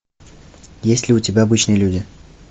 есть ли у тебя обычные люди